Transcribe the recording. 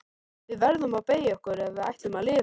Við verðum að beygja okkur ef við ætlum að lifa.